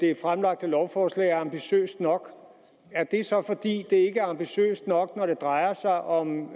det fremlagte lovforslag er ambitiøst nok er det så fordi det ikke er ambitiøst nok når det drejer sig om